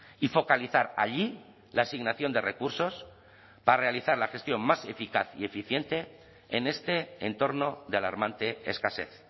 y focalizar allí la asignación de recursos para realizar la gestión más eficaz y eficiente en este entorno de alarmante escasez